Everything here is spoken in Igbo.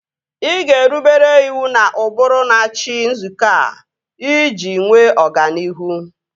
Ị ga-erubere iwu na ụbụrụ n'achị nzukọ a iji nwee ọganihu